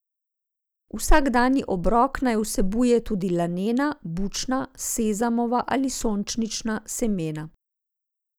Vsakdanji obrok naj vsebuje tudi lanena, bučna, sezamova ali sončnična semena.